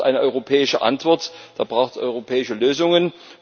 Dazu braucht es eine europäische Antwort, da braucht es europäische Lösungen.